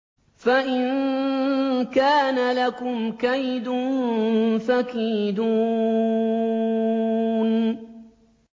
فَإِن كَانَ لَكُمْ كَيْدٌ فَكِيدُونِ